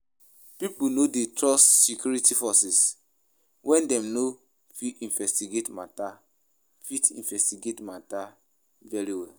Pipo no de trust security forces when dem no fit investigate matter fit investigate matter very well